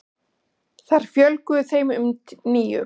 Þar fjölgaði þeim um níu.